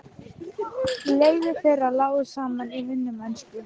Leiðir þeirra lágu saman í vinnumennsku.